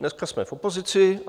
Dneska jsme v opozici.